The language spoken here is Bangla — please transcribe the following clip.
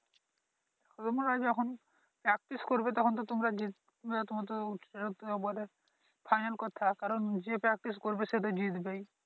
তোমরা যখন Practice করবে তখন তো তোমরা জিতবে ফাইনাল কথা কারন যে Practice করবে সেইতো জিতবেই।